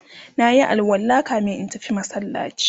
nayi alwala kamin in tafi masallaci